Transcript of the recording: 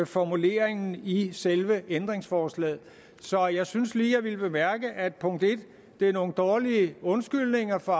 formuleringen i selve ændringsforslaget så jeg syntes lige at jeg ville bemærke at det punkt en er nogle dårlige undskyldninger for